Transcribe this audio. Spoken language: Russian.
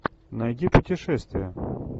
найди путешествия